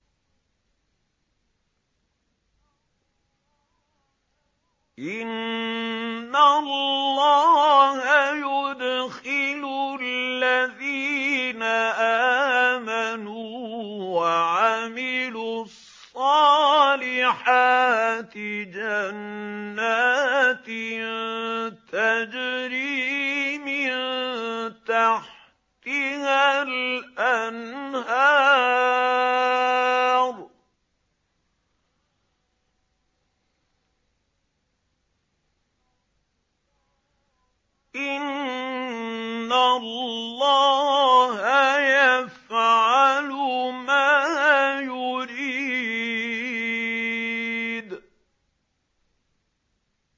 إِنَّ اللَّهَ يُدْخِلُ الَّذِينَ آمَنُوا وَعَمِلُوا الصَّالِحَاتِ جَنَّاتٍ تَجْرِي مِن تَحْتِهَا الْأَنْهَارُ ۚ إِنَّ اللَّهَ يَفْعَلُ مَا يُرِيدُ